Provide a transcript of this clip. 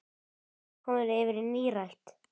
Þá varstu komin yfir nírætt.